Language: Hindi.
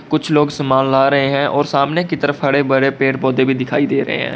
कुछ लोग समान ला रहे हैं और सामने की तरफ हड़े भरे पेड़-पौधे भी दिखाई दे रहे हैं।